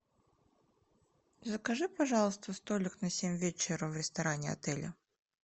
закажи пожалуйста столик на семь вечера в ресторане отеля